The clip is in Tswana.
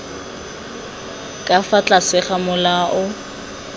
ka fa tlase ga molao